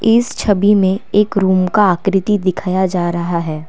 इस छवि में एक रूम का आकृति दिखाया जा रहा है।